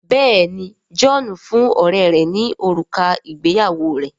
Béèni John fún ọrẹ rè ní òrùka ìgbéyàwó rẹ.